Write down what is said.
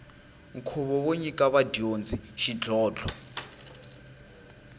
nkhuvo wo nyika vadyondzi xidlhodlho